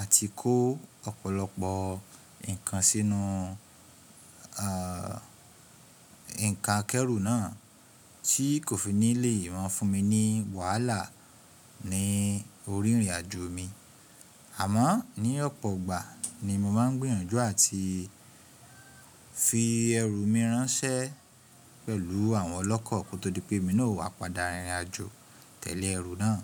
àti kó ọ̀pọ̀lọpọ̀ nǹkan sínú, à, nǹkan akẹ́rù náà tí kò fi nílẹ̀ maa fún mi ní wàhálà ní orí ìrìnàjò mi. Àmọ́ ní ọ̀pọ̀ ìgbà ni mo máa ń gbìyànjú àti fi ẹrù mi ránṣẹ́ pẹ̀lú àwọn ọlọ́kọ́ kó tó di pé mi náà o wá padà rìnrìnàjò tele ẹrù náà.